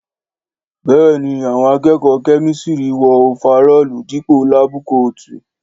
Béèni àwọn akẹẹkọ kémísírì wọọ ofarọ́ọ̀lu Dípò láábù kóótùù